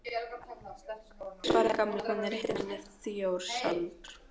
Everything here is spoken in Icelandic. Já svaraði Gamli, hún er heitin manni í Þjórsárdal